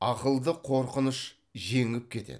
ақылды қорқыныш жеңіп кетеді